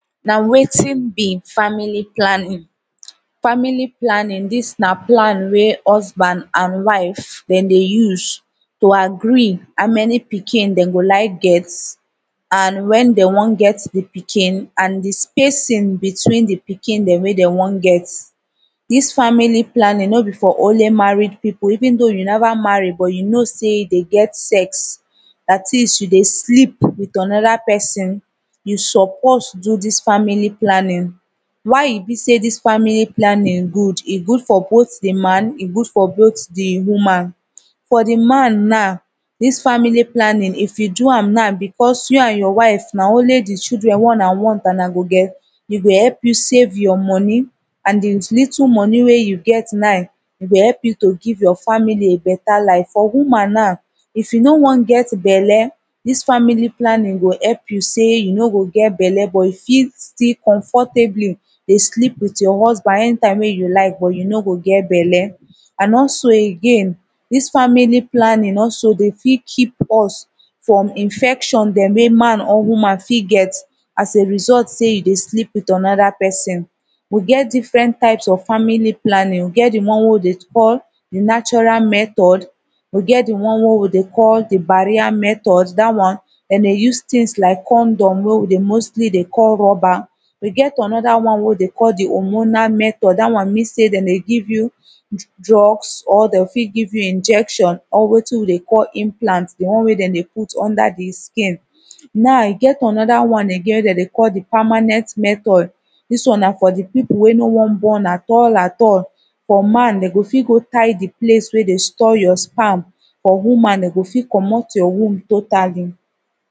nah wetin be family planning family planning this nah plan wey husband and wife them dey use to agree how many pikin dem go like get and when them wan get the pikin and the spacing between the pikin them weh them wan get this family planning no be for only married people even though you never marry but you know say you dey get sex that is you dey sleep with another person you suppose do this family planning why e be say this family planning good e good for both the man e good for both the woman for the man now this family planning if you do am now because you and your wife nah only the children wey unah wan unah go get e go help you save your money and the litttle money weh you get now e go help you to give your family a better life for woman now if you no wan get belle this family planning go help you say you no go get belle but you fit still comfortably dey sleep with you husband anytime weh you like but you no go get belle and also again this family planning also dey fit keep us from infection them wey man or woman fit get as a result say you dey sleep with another person we get different types of family planning we get the one weh we deh call the natural method we get the one weh we the call the barrier method that one them deh use things like condom weh we deh mostly deh call rubber e get another one weh we deh call the hormonal method that one mean say them deh give you drugs or them fit give you injection or wetin we deh call implant deh one weh them deh put under the skin now e get another one agin them deh call the permanent method this one nah for the people weh no wan born at all at all for man dem go fit go tie the place weh deh store your sperm for woman them go fit commot your womb totally